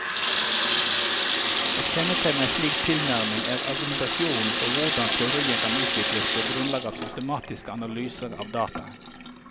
Et kjennetegn ved en slik tilnærming er argumentasjonen for hvordan teori kan utvikles på grunnlag av systematiske analyser av dataene.